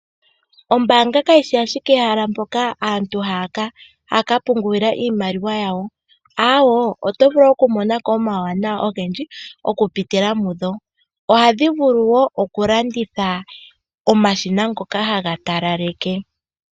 Ombanga kayi shi ashike ehala mpoka aantu haya ka pungulila iimaliwa yawo, oto vulu okumonako omuwanawa ogendji okupitila mu dho ohadhi vulu okulanditha ookila ndhoka tadhi talaleke.